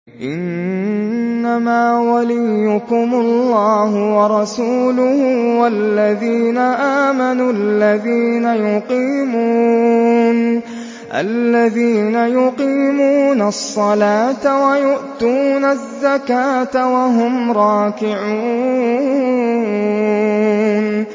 إِنَّمَا وَلِيُّكُمُ اللَّهُ وَرَسُولُهُ وَالَّذِينَ آمَنُوا الَّذِينَ يُقِيمُونَ الصَّلَاةَ وَيُؤْتُونَ الزَّكَاةَ وَهُمْ رَاكِعُونَ